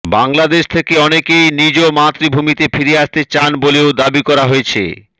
বাংলাদেশ থেকে অনেকেই নিজ মাতৃভূমিতে ফিরে আসতে চান বলেও দাবি করা হয়েছে